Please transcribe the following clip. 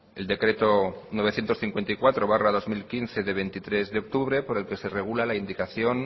el decreto novecientos cincuenta y cuatro barra dos mil quince de veintitrés de octubre por el que se regula la indicación